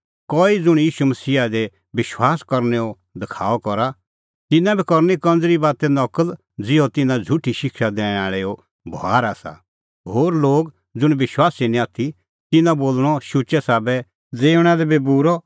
कई ज़ुंण ईशू मसीहा दी विश्वास करनैओ दखाअ करा तिन्नां बी करनी कंज़री बाते नकल ज़िहअ तिन्नां झ़ुठी शिक्षा दैणैं आल़ैओ बभार आसा होर लोग ज़ुंण विश्वासी निं आथी तिन्नां बोल़णअ शुचै साबै ज़िऊंणां लै बी बूरअ